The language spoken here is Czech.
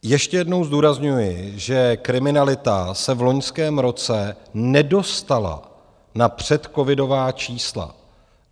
Ještě jednou zdůrazňuji, že kriminalita se v loňském roce nedostala na předcovidová čísla.